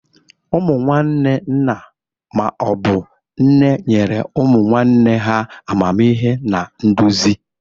Ụmụnne nna ma obu nne nyere ụmụ nwanne ha amamihe na nduzi.